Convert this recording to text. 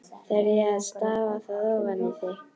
Þarf ég þá að stafa það ofan í þig?